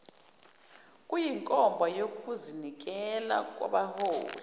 kuyinkomba yokuzinikela kwabaholi